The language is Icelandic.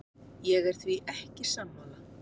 Ég er því ekki sammála.